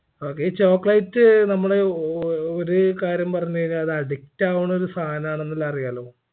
okay ഈ chocolate നമ്മള് ഒ ഓ ഒര് കാര്യം പറഞ്ഞയിഞ്ഞാ അത് addict ആവുണൊരു സാധനാന്ന് ഉള്ള അറിയാലോ